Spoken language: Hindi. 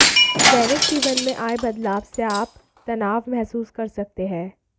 दैनिक जीवन में आये बदलाव से आप तनाव महसूस कर सकते हैं